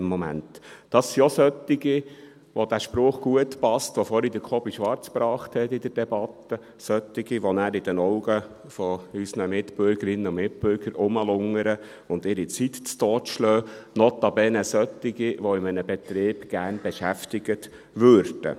Das sind auch solche, bei denen der Spruch gut passt, den Kobi Schwarz vorhin in der Debatte gebracht hat: solche, die nachher in den Augen unserer Mitbürgerinnen und Mitbürgern herumlungern und ihre Zeit totschlagen, notabene solche, die in einem Betrieb gerne beschäftigt würden.